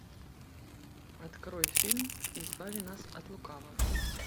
открой фильм избави нас от лукавого